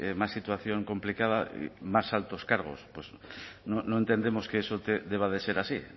más situación complicada más altos cargos pues no entendemos que eso deba de ser así